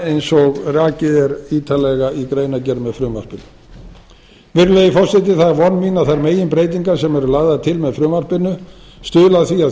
eins og rakið er ítarlega í greinargerð með frumvarpinu virðulegi forseti það er von mín að þær meginbreytingar sem eru lagðar til með frumvarpinu stuðli að því að